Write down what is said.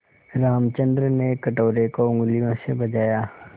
रामचंद्र ने कटोरे को उँगलियों से बजाया